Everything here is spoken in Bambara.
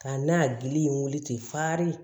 Ka n'a gili in wuli ten farin